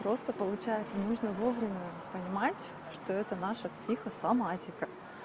просто получается нужно вовремя понимать что это наша психосоматика